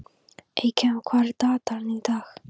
Eykam, hvað er í dagatalinu í dag?